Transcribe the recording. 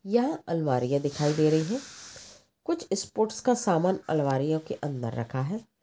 यहा अलमारिया दिखाई दे रही है कुछ स्पोर्ट का समान अलमारियों के अंदर रखा है।